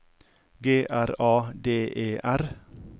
G R A D E R